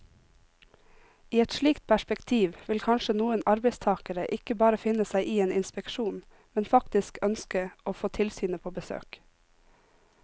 I et slikt perspektiv vil kanskje noen arbeidstagere ikke bare finne seg i en inspeksjon, men faktisk ønske å få tilsynet på besøk.